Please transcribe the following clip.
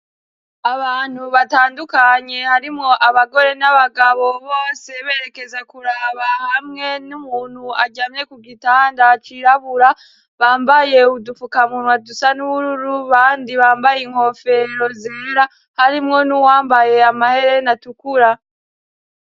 Abantu batandukanye harimwo abagore n'abagabo, bose berekeza kuraba hamwe n'umuntu aryamye ku gitanda cirabura. Bambaye udufukamunwa dusa n'ubururu abandi bambaye inkofero zera, harimwo n'uwambaye amahereni atukura.